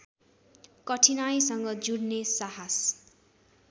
कठिनाइसँग जुध्ने साहस